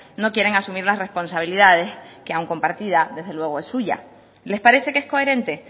no quieren asumir las responsabilidades que aun compartid desde luego es suya les parece que es coherente